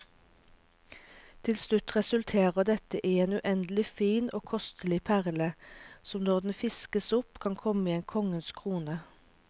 Til slutt resulterer dette i en uendelig fin og kostelig perle, som når den fiskes opp kan komme i en konges krone.